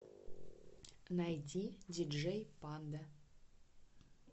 найди диджей панда